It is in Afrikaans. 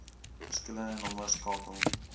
verskillende nommers skakel